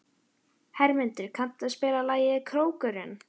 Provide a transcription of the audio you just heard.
Hermundur, kanntu að spila lagið „Krókurinn“?